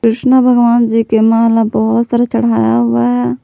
कृष्ण भगवान जी के माला बहुत सारे चढ़ाया हुआ है।